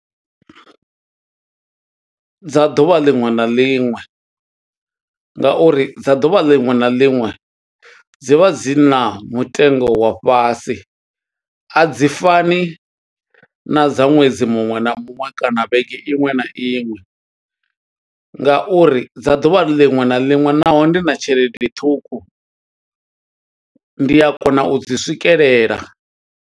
Dza ḓuvha liṅwe na liṅwe, nga uri dza ḓuvha liṅwe na liṅwe dzi vha dzi na mutengo wa fhasi, a dzi fani na dza ṅwedzi muṅwe na muṅwe kana vhege iṅwe na iṅwe, nga uri dza ḓuvha liṅwe na liṅwe naho ndi na tshelede ṱhukhu, ndi a kona u dzi swikelela.